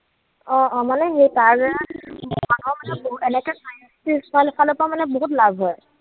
অ, মানে সেই তাৰ দ্বাৰা ৰ ফালৰ পৰা মানে বহুত লাভ হয়।